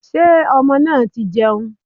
Sé ọmọ náà ti jẹun